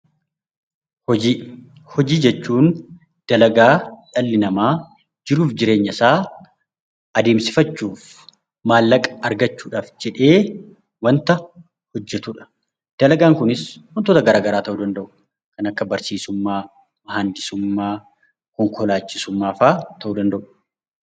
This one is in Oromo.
Hojii jechuun dalagaa dhalli namaa jiruu fi jireenya isaa adeemsifachuuf maallaqa argachuuf jedhee wanta hojjatudha. Dalagaan Kunis gosoota garaagaraa ta'uu danda'u kan akka barsiisummaa, maandisummaa, konkolaachisummaa fa'aa ta'uu danda'u